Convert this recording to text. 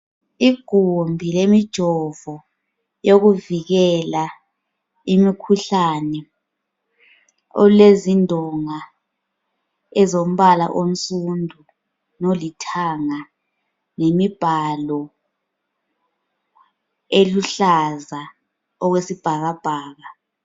Igumbi lemijovo yokuvikela imikhuhlane olezindonga ezombala onsundu lolithanga lemibhalo eluhlaza okwesibhakabhaka